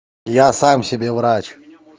я сам себе врач